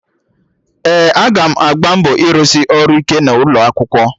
Ee, aga m agba mbọ rụsị ọrụ ike n'ụlọ akwụkwọ